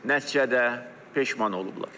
nəticədə peşman olublar.